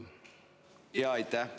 Aitäh!